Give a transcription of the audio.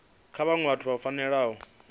kha vhaṅwe vhathu vhu fanela